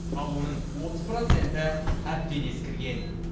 ал оның отыз проценті әбден ескірген